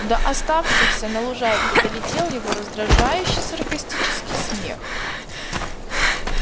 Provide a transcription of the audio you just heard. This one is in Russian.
до оставшихся на лужайке долетел его раздражающе саркастический смех